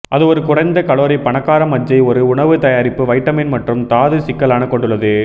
அது ஒரு குறைந்த கலோரி பணக்கார மஜ்ஜை ஒரு உணவு தயாரிப்பு வைட்டமின் மற்றும் தாது சிக்கலான கொண்டுள்ளது